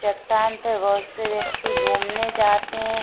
चट्टान पे बहुत से व्यक्ति घूमने जाते है।